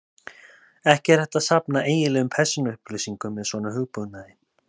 Ekki er hægt að safna eiginlegum persónuupplýsingum með svona hugbúnaði.